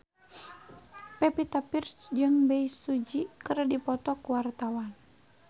Pevita Pearce jeung Bae Su Ji keur dipoto ku wartawan